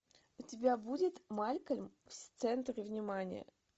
у тебя будет малькольм в центре внимания